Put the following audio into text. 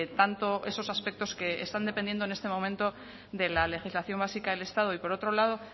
tanto esos aspectos que están dependiendo en este momento de la legislación básica del estado y por otro lado